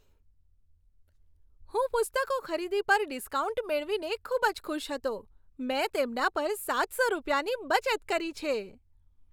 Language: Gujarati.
હું પુસ્તકોની ખરીદી પર ડિસ્કાઉન્ટ મેળવીને ખૂબ જ ખુશ હતો. મેં તેમના પર સાત સો રૂપિયાની બચત કરી છે!